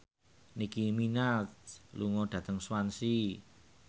Nicky Minaj lunga dhateng Swansea